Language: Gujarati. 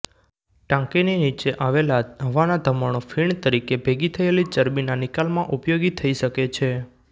ટાંકીની નીચે આવેલા હવાના ધમણો ફીણ તરીકે ભેગી થયેલી ચરબીના નિકાલમાં ઉપયોગી થઇ શકે છે